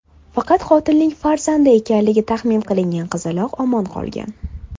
Faqat qotilning farzandi ekanligi taxmin qilingan qizaloq omon qolgan.